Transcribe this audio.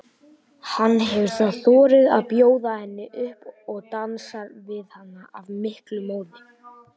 Hann hefur þá þorað að bjóða henni upp og dansar við hana af miklum móði.